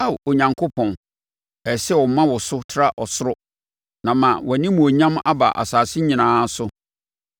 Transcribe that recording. Ao Onyankopɔn, ɛsɛ sɛ wɔma wo so tra ɔsoro, na ama wʼanimuonyam aba asase nyinaa so.